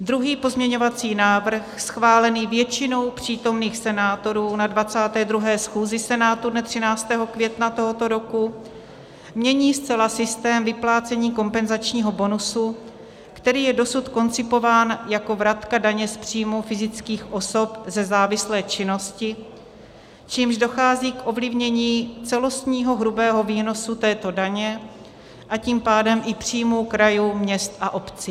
Druhý pozměňovací návrh, schválený většinou přítomných senátorů na 22. schůzi Senátu dne 13. května tohoto roku, mění zcela systém vyplácení kompenzačního bonusu, který je dosud koncipován jako vratka daně z příjmu fyzických osob ze závislé činnosti, čímž dochází k ovlivnění celostního hrubého výnosu této daně, a tím pádem i příjmu krajů, měst a obcí.